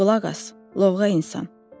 Qulaq as, lovğa insan.